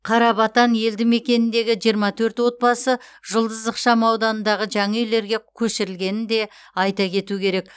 қарабатан елді мекеніндегі жиырма төрт отбасы жұлдыз ықшам ауданындағы жаңа үйлерге көшірілгенін де айта кетеу керек